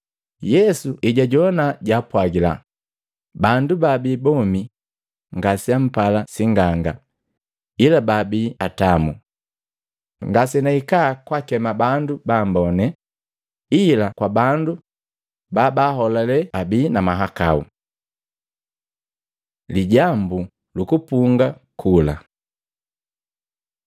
Yesu ejajoana jaapwagila, “Bandu babii bomi ngaseampala sing'anga ila baabii atamu. Ngasenahika kakema bandu bambone, ila kwa bandu babaaholale abii na mahakau.” Lijambu lu kupunga kula Matei 9:14-17; Luka 5:33-39